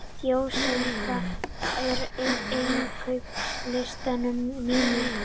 Jósefín, hvað er á innkaupalistanum mínum?